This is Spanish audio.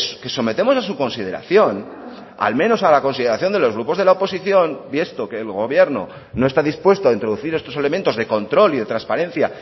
que sometemos a su consideración al menos a la consideración de los grupos de la oposición y esto que el gobierno no está dispuesto a introducir estos elementos de control y de transparencia